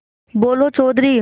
बोलो चौधरी